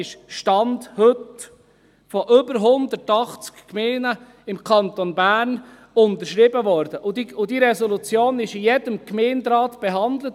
Diese wurde – Stand heute – von über 180 Gemeinden im Kanton Bern unterschrieben, und diese Resolution wurde in jedem Gemeinderat behandelt.